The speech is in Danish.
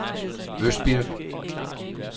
Østbirk